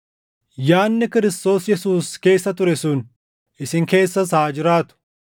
Yaadni Kiristoos Yesuus keessa ture sun, isin keessas haa jiraatu.